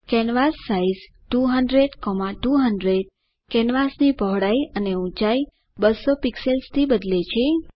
કેન્વાસાઇઝ 200200 કેનવાસની પહોળાઇ અને ઊંચાઇ 200 પિક્સેલ્સથી બદલે છે